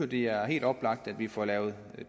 det er helt oplagt at vi får lavet